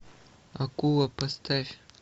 акула поставь